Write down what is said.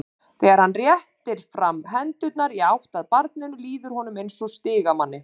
Þegar hann réttir fram hendurnar í átt að barninu líður honum eins og stigamanni.